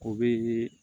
O bɛ